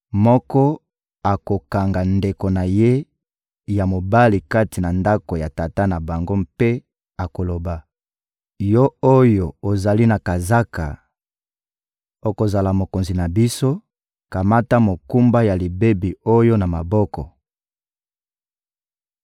moko akokanga ndeko na ye ya mobali kati na ndako ya tata na bango mpe akoloba: «Yo oyo ozali na kazaka, okozala mokonzi na biso, kamata mokumba ya libebi oyo na maboko!»